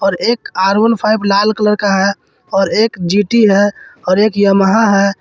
एक R one five लाल colour का है और एक जी_टी है और एक यमहा है।